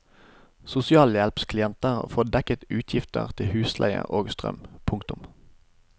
Sosialhjelpsklienter får dekket utgifter til husleie og strøm. punktum